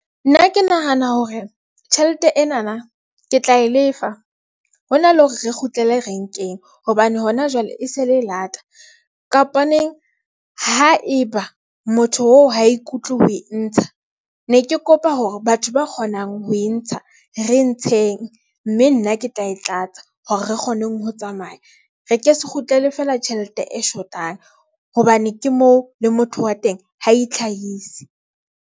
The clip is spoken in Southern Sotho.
Nna ke nahana hore tjhelete ena na, ke tla e lefa hona le hore re kgutlele renkeng hobane hona jwale e se le e lata kapa neng. Haeba motho oo ha ikutlwe ho e ntsha ng ne. Ke kopa hore batho ba kgonang ho e ntsha re ntsheng mme nna ke tla e tlatsa hore re kgoneng ho tsamaya, re ke se kgutlele feela tjhelete e shotang hobane ke moo le motho wa teng ha e itlhahise.